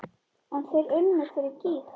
En þeir unnu fyrir gýg.